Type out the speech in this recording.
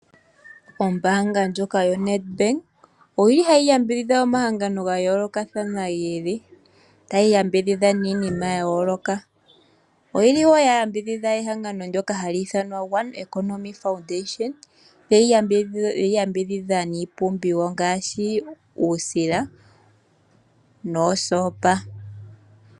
Ombaanga ndjoka yoNadbank, oyi li ha yi yambidhidha omahangano ga yoolokathana gi ili, ta yi yambidhidha niinima ya yooloka. Oyi li woo ya yambidhidha egangano ndyoka ha li ithanwa ( one economy foundation) ye yi yambidhidha, niipumbiwa ngaashi uusila noosopa.